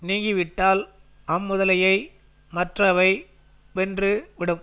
நீங்கி விட்டால் அம்முதலையை மற்றவை வென்று விடும்